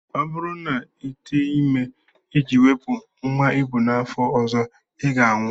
Ọ bụrụ na Ị tee ime iji wepụ nnwa ị bu n'afọ ọzọ, I ga-anwụ!